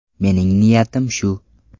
Mening niyatim shu.